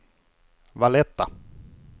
Valletta